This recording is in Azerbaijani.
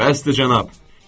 Bəsdir, cənab!